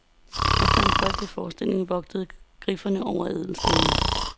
Efter en folkelig forestilling vogtede griffene over ædelstene.